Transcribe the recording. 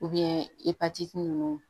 ipatiti ninnu